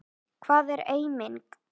Hvað er eiming?